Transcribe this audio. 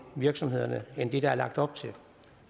virksomhederne end det der er lagt op til